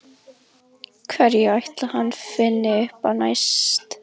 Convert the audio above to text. Hverju ætli hann finni upp á næst?